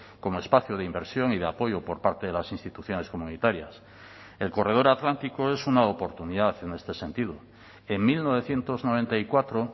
como espacio de inversión y de apoyo por parte de las instituciones comunitarias el corredor atlántico es una oportunidad en este sentido en mil novecientos noventa y cuatro